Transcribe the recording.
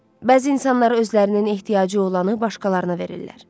Bəzi insanlar özlərinin ehtiyacı olanı başqalarına verirlər.